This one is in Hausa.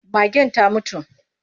Magen ta mutu.